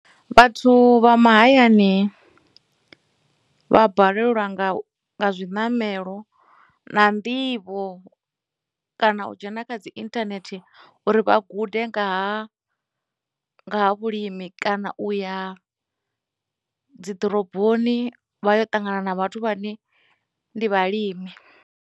Vhathu vha mahayani vha balelwa nga zwiṋamelo na nḓivho kana u dzhena kha dzi internet uri vha gude nga ha vhulimi kana u ya dziḓoroboni vha yo ṱangana na vhathu vhane ndi vhalimi.